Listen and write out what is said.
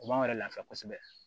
O b'anw yɛrɛ lafiya kosɛbɛ